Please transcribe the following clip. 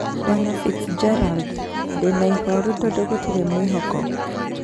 Bw. Fitzgerald :"ndĩna ihoru tondu gutirĩ mwĩhoko.